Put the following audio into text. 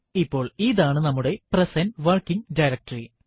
ഇപ്പോൾ ഇതാണ് നമ്മുടെ പ്രസന്റ് വർക്കിങ് ഡയറക്ടറി